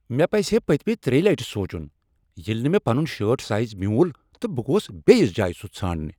مےٚ پزِہے پٔتۍ مہ ترٛیہِ لٹہِ سونچُن ییٚلہِ نہٕ مےٚ پنن شرٹ سایز میُول تہٕ بہٕ گوس بیٚیس جایہ سُہ ژھانٛڈنہ۔